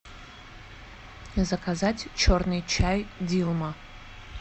заказать черный чай дилма